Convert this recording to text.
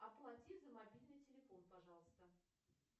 оплати за мобильный телефон пожалуйста